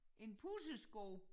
En pussesko